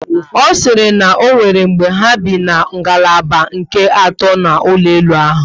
Ọ siri na onwere mgbe ha bi na ngalaba nke ato n'ụlọ elu ahụ